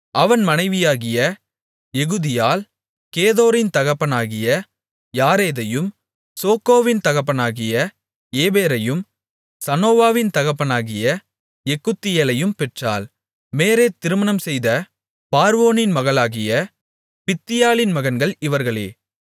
அவன் மனைவியாகிய எகுதியாள் கேதோரின் தகப்பனாகிய யாரேதையும் சோக்கோவின் தகப்பனாகிய ஏபேரையும் சனோவாவின் தகப்பனாகிய எக்குத்தியேலையும் பெற்றாள் மேரேத் திருமணம் செய்த பார்வோனின் மகளாகிய பித்தியாளின் மகன்கள் இவர்களே